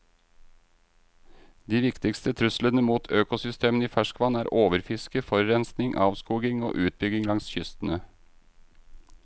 De viktigste truslene mot økosystemene i ferskvann er overfiske, forurensning, avskoging og utbygging langs kystene.